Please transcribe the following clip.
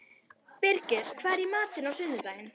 Birgir, hvað er í matinn á sunnudaginn?